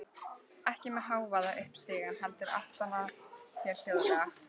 Ekki með hávaða upp stigann, heldur aftan að þér hljóðlega.